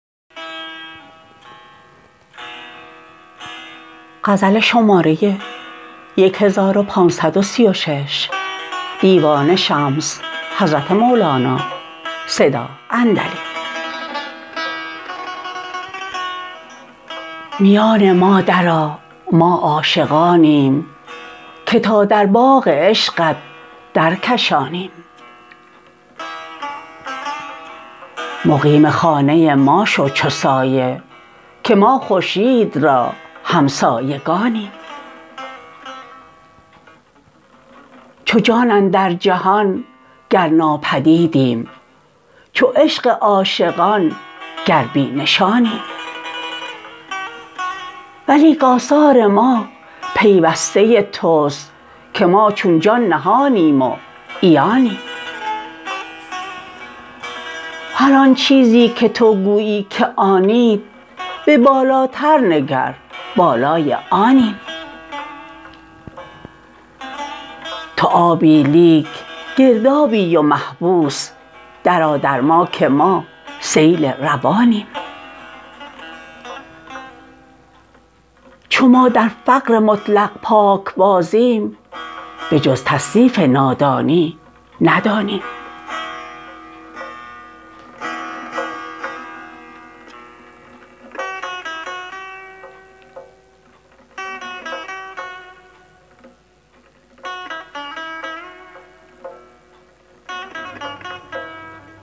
میان ما درآ ما عاشقانیم که تا در باغ عشقت درکشانیم مقیم خانه ما شو چو سایه که ما خورشید را همسایگانیم چو جان اندر جهان گر ناپدیدیم چو عشق عاشقان گر بی نشانیم ولیک آثار ما پیوسته توست که ما چون جان نهانیم و عیانیم هر آن چیزی که تو گویی که آنید به بالاتر نگر بالای آنیم تو آبی لیک گردابی و محبوس درآ در ما که ما سیل روانیم چو ما در فقر مطلق پاکبازیم بجز تصنیف نادانی ندانیم